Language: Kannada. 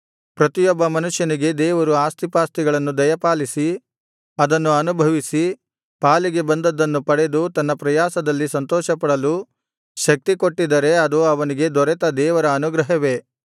ಪ್ರತಿಯೊಬ್ಬ ಮನುಷ್ಯನಿಗೆ ದೇವರು ಆಸ್ತಿಪಾಸ್ತಿಗಳನ್ನು ದಯಪಾಲಿಸಿ ಅದನ್ನು ಅನುಭವಿಸಿ ಪಾಲಿಗೆ ಬಂದದ್ದನ್ನು ಪಡೆದು ತನ್ನ ಪ್ರಯಾಸದಲ್ಲಿ ಸಂತೋಷಪಡಲು ಶಕ್ತಿಕೊಟ್ಟಿದ್ದರೆ ಅದು ಅವನಿಗೆ ದೊರೆತ ದೇವರ ಅನುಗ್ರಹವೇ